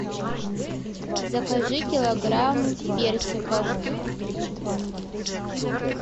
закажи килограмм персиков